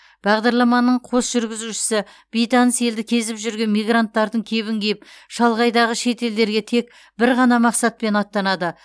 бағдарламаның қос жүргізушісі бейтаныс елді кезіп жүрген мигранттардың кебін киіп шалғайдағы шет елдерге тек бір ғана мақсатпен аттанады